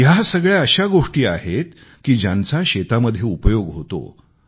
या सगळ्या अशा गोष्टी आहेत ज्यांचा शेतामध्ये उपयोग होतो